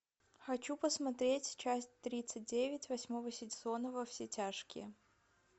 хочу посмотреть часть тридцать девять восьмого сезона во все тяжкие